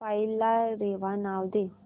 file ला रेवा नाव दे